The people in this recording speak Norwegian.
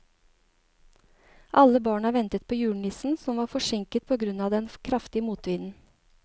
Alle barna ventet på julenissen, som var forsinket på grunn av den kraftige motvinden.